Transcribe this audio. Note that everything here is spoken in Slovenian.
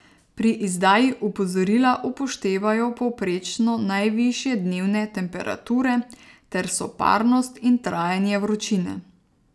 Pri izdaji opozorila upoštevajo povprečno najvišje dnevne temperature ter soparnost in trajanje vročine.